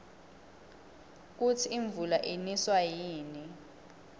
kusi imvula iniswa yini